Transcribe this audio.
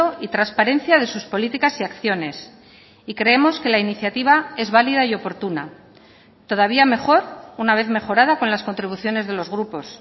y transparencia de sus políticas y acciones y creemos que la iniciativa es válida y oportuna todavía mejor una vez mejorada con las contribuciones de los grupos